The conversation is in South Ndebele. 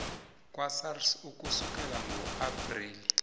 kwasars ukusukela ngoapreli